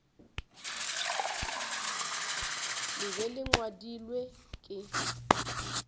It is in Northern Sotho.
le be le ngwadilwe ke